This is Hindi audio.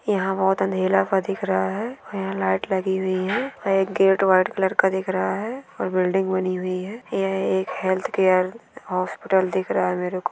यहाँ बहुत अंधेरा हुआ दिख रहा है और यहाँ पे लाइट लगी हुई है और एक गेट वाइट कलर का दिख रहा है और एक बिल्डिंग बनी हुई है यह एक हैल्थ केयर हॉस्पिटल दिख रहा है मेरे को--